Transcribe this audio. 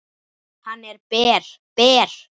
Hann er ber, ber.